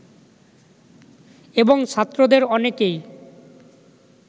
এবং ছাত্রদের অনেকেই